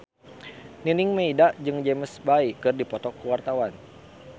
Nining Meida jeung James Bay keur dipoto ku wartawan